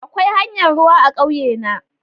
Akwai hanyar ruwa a ƙauye na.